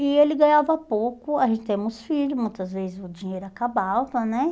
E ele ganhava pouco, a gente temos filhos, muitas vezes o dinheiro acabava, né?